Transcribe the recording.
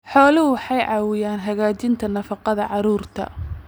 Xooluhu waxay caawiyaan hagaajinta nafaqada carruurta.